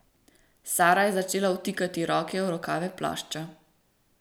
Sara je začela vtikati roke v rokave plašča.